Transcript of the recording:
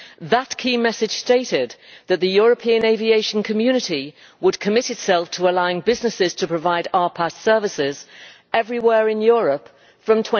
That key message stated that the European aviation community would commit itself to allowing businesses to provide RPAS services everywhere in Europe from